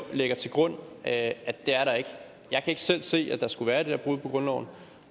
lægger til grund at det er der ikke jeg kan ikke selv se at der skulle være det der brud på grundloven